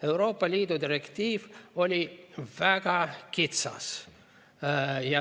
Euroopa Liidu direktiiv oli väga kitsas.